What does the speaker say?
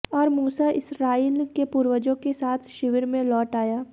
और मूसा इस्राएल के पूर्वजों के साथ शिविर में लौट आया